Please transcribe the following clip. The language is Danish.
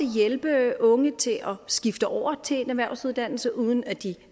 hjælpe unge til at skifte over til en erhvervsuddannelse uden at de